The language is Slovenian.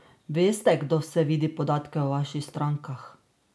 Veste, kdo vse vidi podatke o vaših strankah?